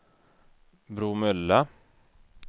Bromölla